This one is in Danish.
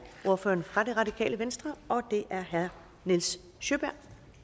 ordføreren fra det radikale venstre og det er herre nils sjøberg